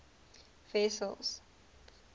wessels